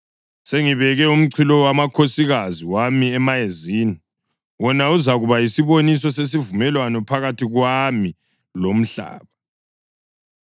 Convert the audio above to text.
Sengibeke umchilowamakhosikazi wami emayezini, wona uzakuba yisiboniso sesivumelwano phakathi kwami lomhlaba.